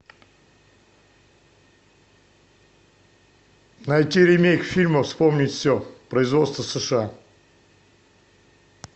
найти ремейк фильма вспомнить все производство сша